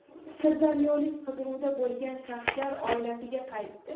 Sirdaryolik qidiruvda bo‘lgan shaxslar oilasiga qaytdi.